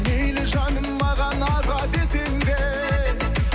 мейлі жаным маған аға десең де